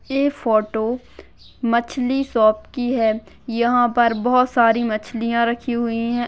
ये फोटो मछली शॉप की है यहाँ पर बोहोत सारी मछलियाँ रखी हुई है।